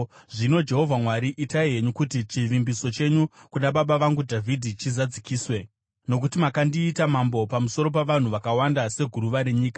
Zvino, Jehovha Mwari, itai henyu kuti chivimbiso chenyu kuna baba vangu Dhavhidhi chizadziswe, nokuti makandiita mambo pamusoro pavanhu vakawanda seguruva renyika.